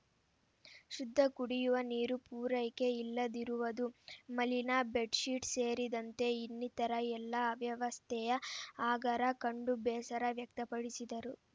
ಶುದ್ಧ ಕುಡಿಯುವ ನೀರು ಪೂರೈಕೆ ಇಲ್ಲದಿರುವದು ಮಲಿನ ಬೆಡ್ ಶೀಟ್ ಸೇರಿದಂತೆ ಇನ್ನಿತರ ಎಲ್ಲ ಅವ್ಯವಸ್ಥೆಯ ಆಗರ ಕಂಡು ಬೇಸರ ವ್ಯಕ್ತಪಡಿಸಿದರು